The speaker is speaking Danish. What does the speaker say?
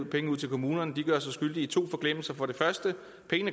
penge ud til kommunerne gør sig skyldig i to forglemmelser for det første